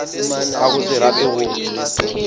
ka go se rate go